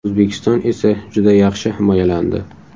O‘zbekiston esa juda yaxshi himoyalandi.